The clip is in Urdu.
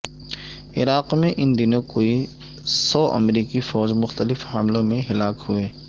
عراق میں ان دنوں کوئی سو امریکی فوج مختلف حملوں میں ہلاک ہوئے